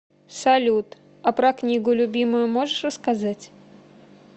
салют а про книгу любимую можешь рассказать